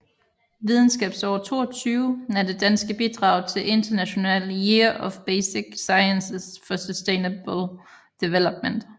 Videnskabsår22 er det danske bidrag til International Year of Basic Sciences for Sustainable Development